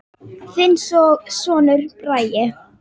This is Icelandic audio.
Þinn sonur, Bragi.